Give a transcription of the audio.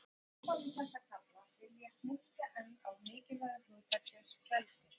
Í upphafi þessa kafla, vil ég hnykkja enn á mikilvægi hugtaksins frelsi.